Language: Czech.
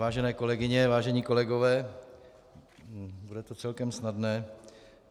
Vážené kolegyně, vážení kolegové, bude to celkem snadné.